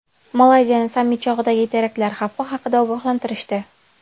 Malayziyani sammit chog‘idagi teraktlar xavfi haqida ogohlantirishdi.